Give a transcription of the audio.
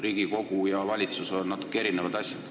Riigikogu ja valitsus on natuke erinevad asjad.